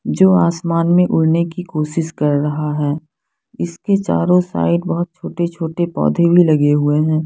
जो आसमान में उड़ने की कोसिस कर रहा है इसके चारो साईड बहोत छोटे छोटे पोधे भी लगे हुए हैं।